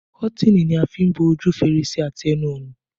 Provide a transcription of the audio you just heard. Kọ́tìnì ni a fi n bo ojú fèrèsé àti ẹnu ọ̀nà